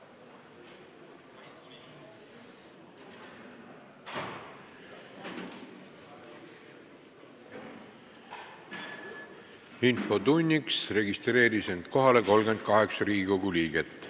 Kohaloleku kontroll Infotunniks registreeris end kohale 38 Riigikogu liiget.